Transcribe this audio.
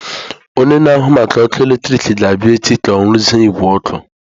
Onye na-ahụ maka ọkụ eletrik ga-abịa echi ka ọ rụzie igwe ọkụ.